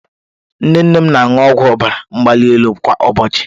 Nne nne m na-aṅụ ọgwụ ọbara mgbali elu kwa ụbọchị